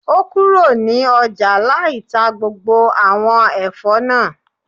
O kúrò ní ọjà lai tá gbogbo àwọn Ẹ̀fọ́ náà